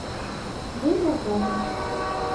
день зарплаты